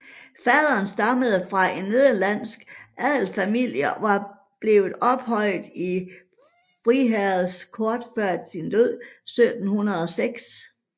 Faderen stammede fra en nederlandsk adelsfamilie og var blevet ophøjet i friherrestanden kort før sin død i 1706